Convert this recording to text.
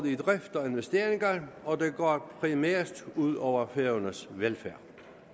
i drift og investeringer og det går primært ud over færøernes velfærd